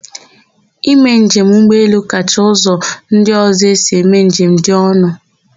Ime njem ụgbọelu kacha ụzọ ndị ọ̀zọ́ esi eme njem dị ọnụ.